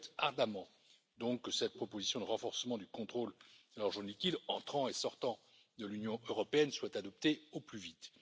Je souhaite donc ardemment que cette proposition de renforcement du contrôle de l'argent liquide entrant et sortant de l'Union européenne soit adoptée au plus vite.